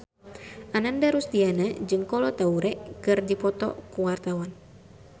Ananda Rusdiana jeung Kolo Taure keur dipoto ku wartawan